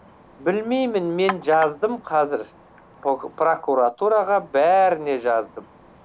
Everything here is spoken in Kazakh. білмеймін мен жаздым қазір прокуратураға бәріне жаздым